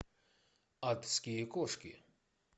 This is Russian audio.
адские кошки